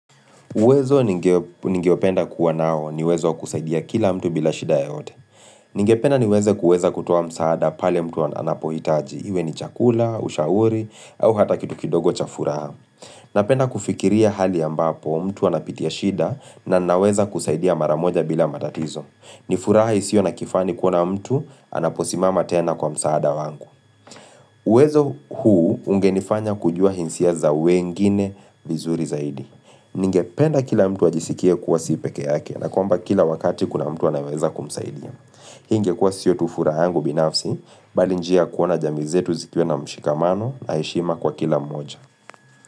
Uwezo ningeopenda kuwa nao ni uwezo kusaidia kila mtu bila shida yoyote. Ningependa niweze kuweza kutuoa msaada pale mtu anapohitaji. Iwe ni chakula, ushauri, au hata kitu kidogo cha furaha. Napenda kufikiria hali ambapo mtu anapitia shida na naweza kusaidia mara moja bila matatizo. Ni furaha isiyo nakifani kuona mtu anaposimama tena kwa msaada wangu. Uwezo huu ungenifanya kujua hinsia za wengine vizuri zaidi. Ningependa kila mtu ajisikie kuwa si pekee yake na kwamba kila wakati kuna mtu anayeweza kumsaidia Hii ingekuwa sio tu furaha yangu binafsi Bali njia ya kuona jamii zetu zikiwa na mshikamano na heshima kwa kila mmoja.